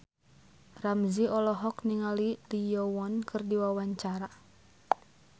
Ramzy olohok ningali Lee Yo Won keur diwawancara